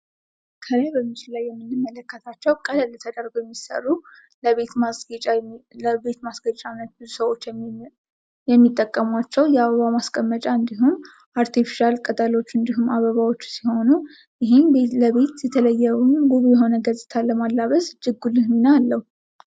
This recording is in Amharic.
ምስሉ ላይ የምንመለከተው ቀለል ብለው የሚሰሩ የቤት ማስጌጫ ነው ።ለቤት ማስጌጫነት የሚጠቅሙ አበባዎችና ሰው ሰራሽ ቅጠሎች አሉ። ለቤት እጅግ በጣም የሚያምር ውበት ለማላበስ ይረዳል።